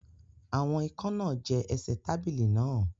Àwọn ikán náà jẹ ẹsẹ̀ tábìlì náà